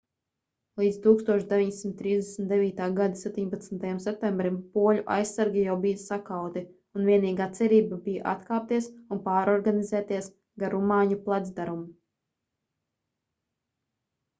līdz 1939. gada 17. septembrim poļu aizsargi jau bija sakauti un vienīgā cerība bija atkāpties un pārorganizēties gar rumāņu placdarmu